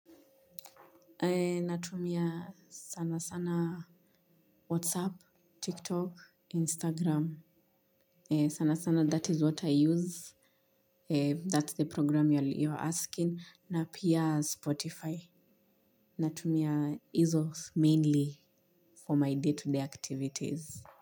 Natumia sana sana whatsapp, tiktok, instagram. Sana sana that is what I use. That's the program you are asking. Na pia spotify. Natumia izo mainly for my day to day activities.